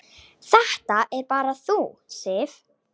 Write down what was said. Það ert bara þú, Sif.